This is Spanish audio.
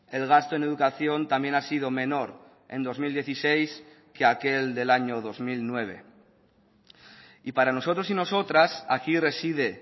el gasto en educación también ha sido menor en dos mil dieciséis que aquel del año dos mil nueve y para nosotros y nosotras aquí reside